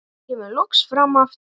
Hún kemur loks fram aftur.